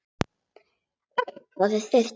Allt orðið þurrt daginn eftir.